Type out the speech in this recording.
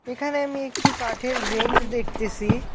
এখানে আমি একটি কাঠের ব্রেঞ্চ দেখতেসি।